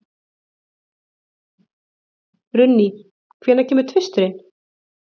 Runný, hvenær kemur tvisturinn?